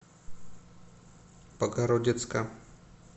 богородицка